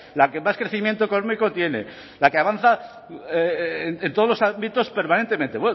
la que más crecimiento económico tiene la que avanza en todos los ámbitos permanentemente